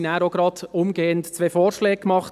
Uns wurden seitens des BVE zwei Vorschläge gemacht.